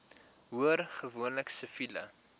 hoor gewoonlik siviele